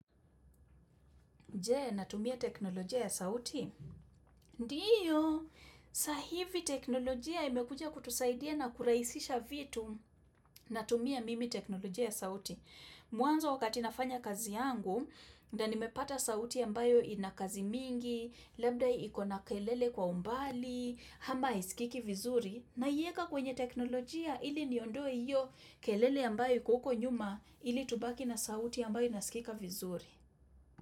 Je, natumia teknolojia ya sauti? Ndio, sa hivi teknolojia imekuja kutusaidia na kurahisisha vitu natumia mimi teknolojia ya sauti. Mwanzo wakati nafanya kazi yangu, ndo nimepata sauti ambayo inakazi mingi, labda iko na kelele kwa umbali, ama haiskiki vizuri, naiweka kwenye teknolojia ili niondoe iyo kelele ambayo iko huko nyuma ili tubaki na sauti ambayo inaskika vizuri.